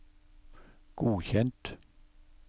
godkjent